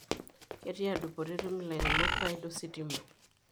Ketiaa dupoto etum ilairemok faida ositima.